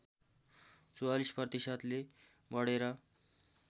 ४४ प्रतिशतले बढेर